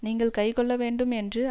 நீங்கள் கைக்கொள்ள வேண்டும் என்று